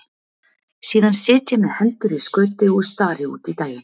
Síðan sit ég með hendur í skauti og stari út í daginn.